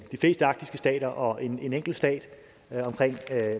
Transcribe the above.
de fleste arktiske stater og en enkelt stat omkring